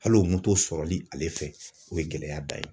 Halo moto sɔrɔli ale fɛ, o ye gɛlɛya dan ye.